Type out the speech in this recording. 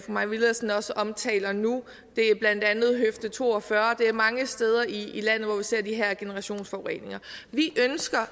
mai villadsen også omtaler nu det er blandt andet høfde to og fyrre og det er mange steder i landet hvor vi ser de her generationsforureninger vi ønsker